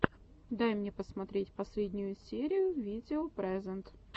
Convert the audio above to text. дай мне посмотреть последнюю серию видео прэзэнт